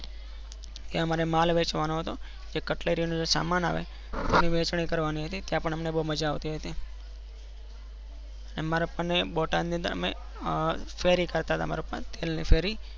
ત્માયાં અમારે માલ વેચવાનો હતો. જે કટલરી નો સમાન આવે તે વેચની કરવા ની હતી. ત્યાં પણ મને બૌમઝા આવતી હતી મારા પપ્પા ને અમે અર ફેરી કરતા હતા.